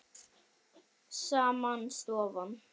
Sama stofan.